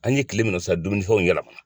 An ye kile min na sisan dumunifɛnw yɛlɛma